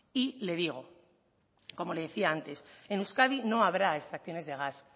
y le digo como le decía antes en euskadi no habrá extracciones de gas